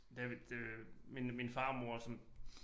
Da vi da min min farmor som